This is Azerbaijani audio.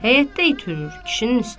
Həyətdə it hürür kişinin üstünə.